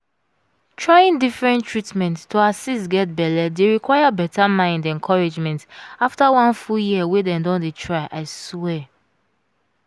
trying different treatment to assist get belle dey require better mind encouragement after one full year wey dem don dey tryi swear